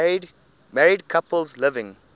married couples living